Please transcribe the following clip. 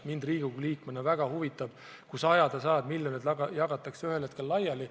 Mind Riigikogu liikmena väga huvitab, kuidas jagatakse ühel hetkel laiali sajad ja sajad miljonid.